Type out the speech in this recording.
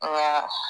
Nka